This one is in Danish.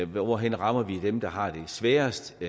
hvor vi rammer dem der har det sværest